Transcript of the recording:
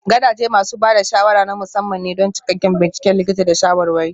Gadaje masu ba da shawara na musamman ne don cikakken binciken likita da shawarwari.